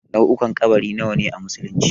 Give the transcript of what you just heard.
Nau'ukan ƙabari nawa a musulunci?